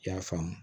I y'a faamu